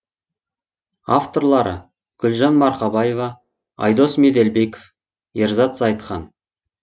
авторлары гүлжан марқабаева айдос меделбеков ерзат зайытхан